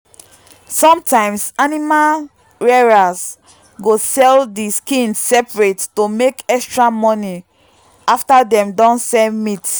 sometimes animal rearers go sell the skin separate to make extra money after dem don sell meat.